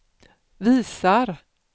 visar